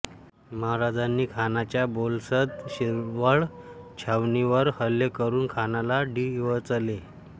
महाराजांनी खानाच्या बोलसद शिरवळ छावणीवर हल्ले करुन खानाला डिवचले